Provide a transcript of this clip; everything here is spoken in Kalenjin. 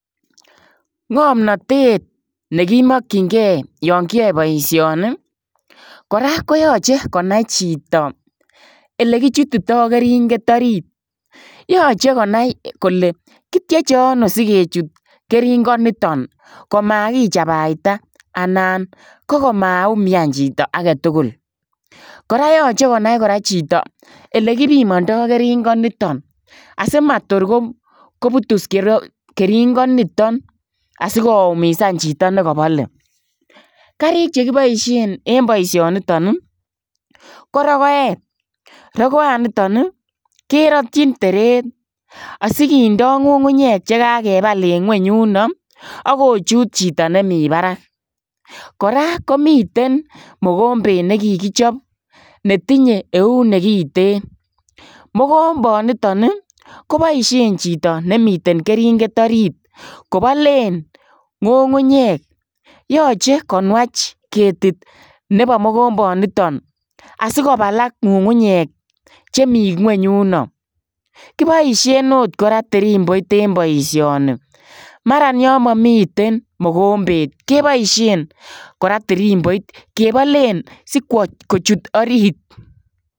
Ngamnatet ne ki makyinigei olaan kiyae boisioni kora koyachei konai chitoo ele kichututai keringeet oriit yachei konai kole kityechei ano sikechuut keringeet nitoon komakiichabaitai anan ko maumian chitoo age tugul kora yachei konai chitoo ole kipimandai keringeet nitoon asimatoor ko butuus keringeet nitoon asiko koumisaan chitoo ne ka balee kariig che kibaisheen en baishaan nitoon ii ko rokoet rigoaan nitoon ii keratyiin tereet asikindaa ngungunyeek che ka kebal en yunoo ii akochuut chitoo nemii baraak kora komiteen mogombeet nekikichaap netinye eut nekiteen mogombanitaan ii kobaisheen chitoo nemiten keringeet oriit kobaleen ngungunyeek yachei konwaach ketit nebo mogombanitoon asikobalaak ngungunyeek che Mii kweeny Yuno kibaisheen akoot kora tirimboit en boishanii maran yaan mamiten mogombeet kebaisheen kora tirimboit kebaleen kochuut orit.